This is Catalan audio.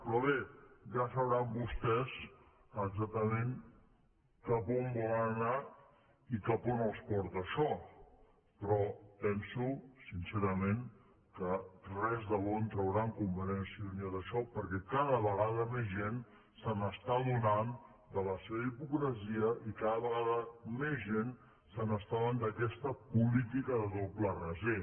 però bé ja deuen saber vostès exactament cap a on volen anar i cap a on els porta això però penso sincerament que res de bo en trauran convergència i unió d’això perquè cada vegada més gent s’està adonant de la seva hipocresia i cada vegada més gent s’està adonant d’aquesta política de doble raser